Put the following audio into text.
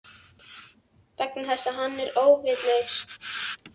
Vegna þess að hann er óvitlaus.